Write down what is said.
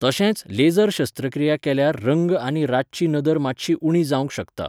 तशेंच लेसर शस्त्रक्रिया केल्यार रंग आनी रातची नदर मात्शी उणी जावंक शकता.